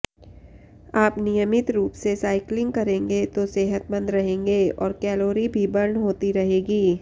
आप नियमित रूप से साइक्लिंग करेंगे तो सेहतमंद रहेंगे और कैलोरी भी बर्न होती रहेगी